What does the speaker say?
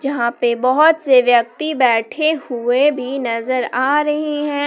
जहां पे बहुत से व्यक्ति बैठे हुए भी नजर आ रही हैं।